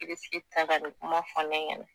Irisigi ta ka nin kuma fɔ ne ɲɛnɛ